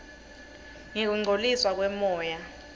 ngekungcoliswa kwemoya